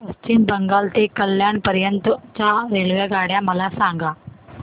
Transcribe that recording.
पश्चिम बंगाल ते कल्याण पर्यंत च्या रेल्वेगाड्या मला सांगा